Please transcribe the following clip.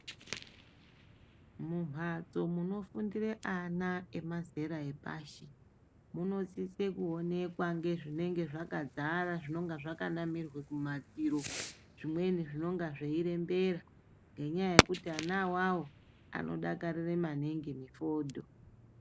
Mumhatso munofundira ana emazera epashi munosise kuonekwa nezvinenge zvakadzara zvakanamirwa kumadziro zvimweni zvinenge zveirembera ngenyaya yekuti ana awawo anodakarire maningi mifodho.